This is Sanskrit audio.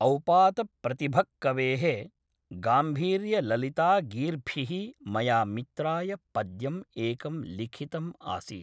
औपातप्रतिभक्कवेः गाम्भीर्यललितागीर्भिः मया मित्राय पद्यम् एकं लिखितम् आसीत्